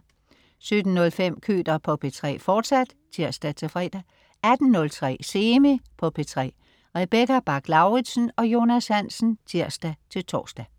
17.05 Køter på P3, fortsat (tirs-fre) 18.03 Semi på P3. Rebecca Bach-Lauritsen og Jonas Hansen (tirs-tors)